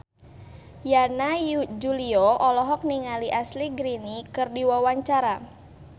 Yana Julio olohok ningali Ashley Greene keur diwawancara